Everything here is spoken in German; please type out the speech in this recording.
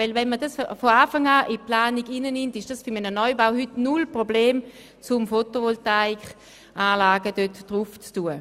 Denn wenn dies von Anfang an in die Planung aufgenommen wird, ist es heute kein Problem mehr, auf ein Gebäude Photovoltaikanlagen zu installieren.